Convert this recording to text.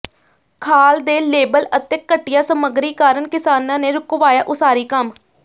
ਖਾਲ ਦੇ ਲੇਬਲ ਅਤੇ ਘਟੀਆ ਸਮੱਗਰੀ ਕਾਰਨ ਕਿਸਾਨਾਂ ਨੇ ਰੁਕਵਾਇਆ ਉਸਾਰੀ ਕੰਮ